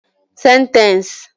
Sentence